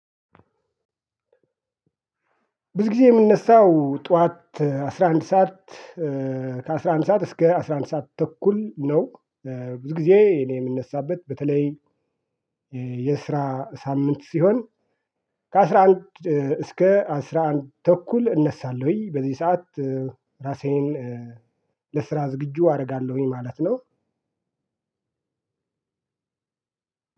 ብዙ ጊዜ የምነሳው ጠዋት አስራ አንድ ሰዓት ከአስራ አንድ ሰዓት እስከ አስራ አንድ ሰዓት ተኩል ነው። ብዙ ጊዜ እኔ የምነሳበት በተለይ የስራ ሳምንት ሲሆን ከአስራ አንድ እስከ አስራ አንድ ተኩል እነሳለሁኝ። በዚህ ሰዓት ራሴን ለስራ ዝግጁ አደርጋለሁኝ ማለት ነው።